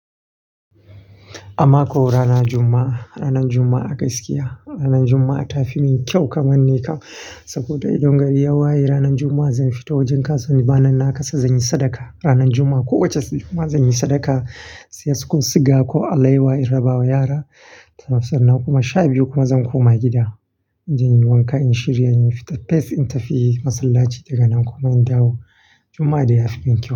Amma ko rana Jumma'a, ranar Jumma'a gaskiya ranar Jumma'a ta fi min kyau kaman ni ka. Saboda idan gari ya waye ranar Juma'a zan fita wajen ka, saboda bana naka sa zan yi sadaka. Ranar Juma'a ko wace rana zan yi sadaka, siya sukul siga ko alaiwa in raba wa yara. Sannan kuma sha biyu kuma zan koma gida. Zan yi wanka, in shirya, in fita fes in tafi masallaci daga nan kuma in dawo. Juma'a dai ya fi min kyau.